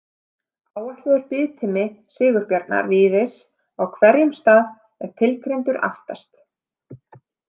Áætlaður biðtími Sigurbjarnar Víðis á hverjum stað er tilgreindur aftast.